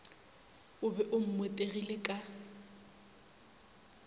o be o mmotegile ka